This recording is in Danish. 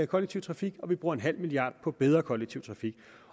kollektiv trafik og vi bruger en halv milliard kroner på bedre kollektiv trafik